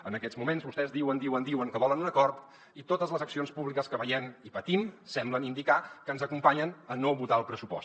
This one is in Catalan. en aquests moments vostès diuen diuen diuen que volen un acord i totes les accions públiques que veiem i patim semblen indicar que ens acompanyen a no votar el pressupost